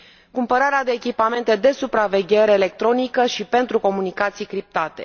cumpărarea de echipamente de supraveghere electronică și pentru comunicații criptate.